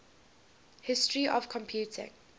history of computing